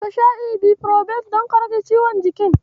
Ka sha Ibufirofen don ka rake ciwon jikin?